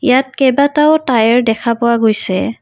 ইয়াত কেইবাটাও টায়াৰ দেখা পোৱা গৈছে।